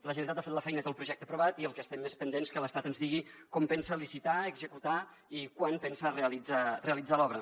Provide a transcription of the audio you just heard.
la generalitat ha fet la feina i té el projecte aprovat i el que estem és pendents que l’estat ens digui com pensa licitar executar i quan pensa realitzar l’obra